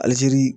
Alizeri